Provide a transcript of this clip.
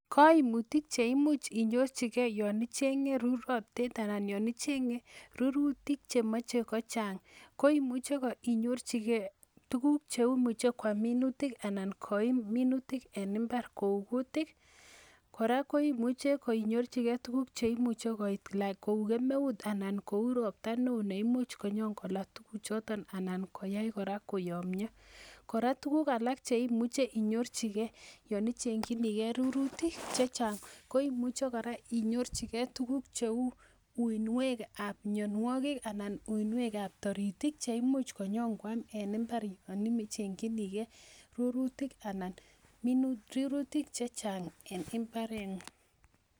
Koimutiik cheimuch inyorchigei yon ichengee rurotet anan yon ichenge ruruutik chemoche kochang. Ko imuche inyorchigei tuguuk, cheimuch koam minutik anan koim minuutik en imbaar kou kuutik. Kora koimuche koinyorchigei tuguuk cheimuche koit like kou kemeut, anan kou roptaa newoo neimuch konyon kobaar tuguuk, anan koyai kora koyomyoo. Kora tuguuk alak cheimuche inyorchigei yon ichenge ruruutik chechang. Koimuche kora inyorchigei cheu uinwekab mionwogiik anan uinwekab toriitik cheimuch konyon Kwan en imbaar yon imi ichengchinigei ru rurutik chechang en imbarengung.